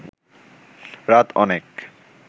রাত অনেক